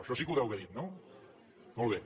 això sí que ho deu haver dit no molt bé